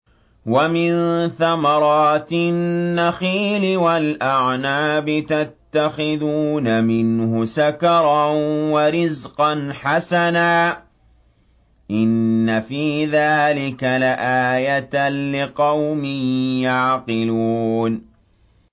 وَمِن ثَمَرَاتِ النَّخِيلِ وَالْأَعْنَابِ تَتَّخِذُونَ مِنْهُ سَكَرًا وَرِزْقًا حَسَنًا ۗ إِنَّ فِي ذَٰلِكَ لَآيَةً لِّقَوْمٍ يَعْقِلُونَ